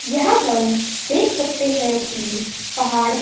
यहां हम देख सकते हैं कि पहाड़--